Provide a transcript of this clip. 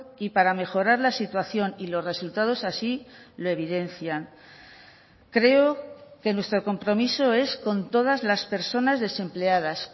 y para mejorar la situación y los resultados así lo evidencian creo que nuestro compromiso es con todas las personas desempleadas